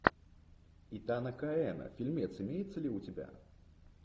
итана коэна фильмец имеется ли у тебя